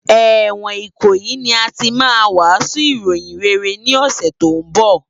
Èwòn Ikoyi ni àtí mà wàsún iróyin réré ni òsè tó n bò